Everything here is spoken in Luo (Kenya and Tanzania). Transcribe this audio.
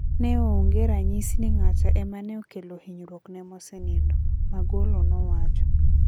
"Neonge ranyisi ni ng'ata ema neokelo hinyruok ne mosenindo" Magolo nowacho.